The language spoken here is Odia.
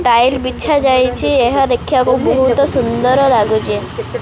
ଟାଇଲ୍ ବିଛା ଯାଇଛି ଏହା ଦେଖିବାକୁ ବହୁତ ସୁନ୍ଦର ଲାଗୁଛି।